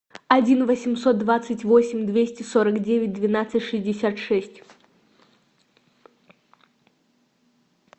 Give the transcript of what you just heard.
один восемьсот двадцать восемь двести сорок девять двенадцать шестьдесят шесть